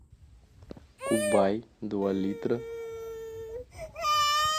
кубай два литра